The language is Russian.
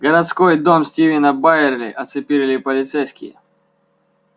городской дом стивена байерли оцепили полицейские